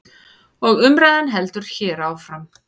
Og umræðan heldur hér áfram.